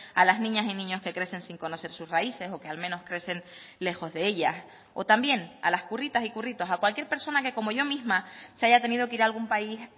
a las niñas y niños que crecen sin conocer sus raíces o que al menos crecen lejos de ellas o también a las curritas y curritos a cualquier persona que como yo misma se haya tenido que ir a algún país